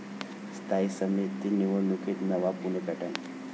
स्थायी समिती निवडणुकीत नवा 'पुणे पॅटर्न'